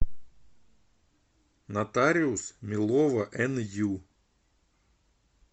нотариус милова ню